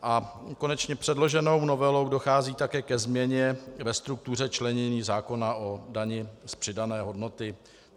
A konečně předloženou novelou dochází také ke změně ve struktuře členění zákona o dani z přidané hodnoty.